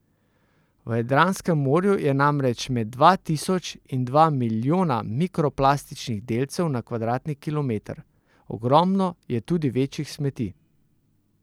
V Jadranskem morju je namreč med dva tisoč in dva milijona mikroplastičnih delcev na kvadratni kilometer, ogromno je tudi večjih smeti.